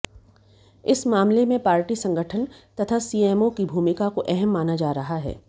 इस मामले में पार्टी संगठन तथा सीएमओ की भूमिका को अहम माना जा रहा है